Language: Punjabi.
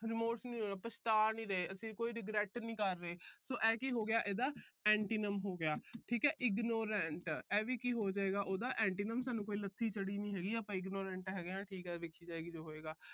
remorse ਨੀ ਹੋਏ। ਪਛਤਾ ਨੀ ਰਹੇ। ਅਸੀਂ ਕੋਈ regret ਨਹੀਂ ਕਰ ਰਹੇ। so ਇਹ ਕੀ ਹੋ ਗਿਆ ਇਹਦਾ antonyms ਹੋ ਗਿਆ। ਠੀਕ ਹੈ। ignorant ਆਹ ਵੀ ਕੀ ਹੋਜੇਗਾ ਉਹਦਾ antonyms ਸਾਨੂੰ ਕੋਈ ਲੱਸੀ ਚੜ੍ਹੀ ਨੀ ਹੈਗੀ। ਅਸੀਂ ignorant ਹੈਗੇਆ। ਠੀਕ ਆ, ਜੋ ਹੋਏਗਾ ਦੇਖੀ ਜਾਏਗੀ।